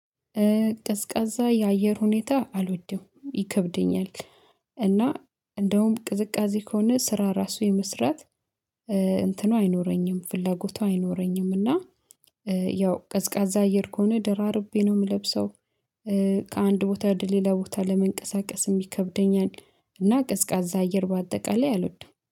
ቅዝቃዛ የአየር ሁኔታ አልወድም ይከብደኛል። እና እንደውም ቅዝቃዜ ከሆነ ስራ ራሱ የመስራት እንትኑ አይኖረኝም ፍላጎቱ አይኖረኝም። እና ያው ቀዝቃዛ አየር ከሆነ ደራርቤ ነው የምለብሰው። ከአንድ ቦታ ድሌላ ቦታ ለመንቀሳቀስ የሚከብደኛል እና ቅዝቃዛ አየር በአጠቃላይ አልወድም